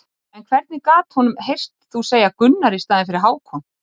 En hvernig gat honum heyrst þú segja Gunnar í staðinn fyrir Hákon?